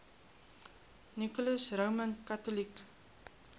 nicholas roman catholic